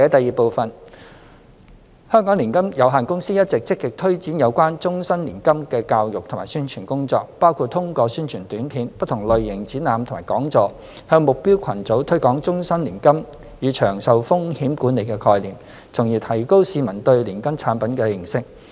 二香港年金有限公司一直積極推展有關終身年金的教育及宣傳工作，包括通過宣傳短片、不同類型展覽及講座，向目標群組推廣終身年金與長壽風險管理的概念，從而提高市民對年金產品的認識。